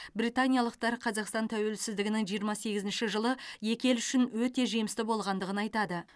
британиялықтар қазақстан тәуелсіздігінің жиырма сегізінші жылы екі ел үшін өте жемісті болғандығын айтады